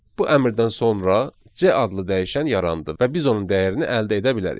Bu əmrdən sonra C adlı dəyişən yarandı və biz onun dəyərini əldə edə bilərik.